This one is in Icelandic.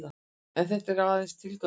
En þetta er aðeins tilgáta.